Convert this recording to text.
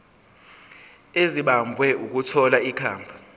ezimbabwe ukuthola ikhambi